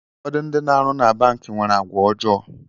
Ụfọdụ ndị na arụ na banki nwere àgwà ọjọọ